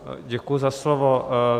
Děkuji za slovo.